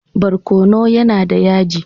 Barkono yAna da yaji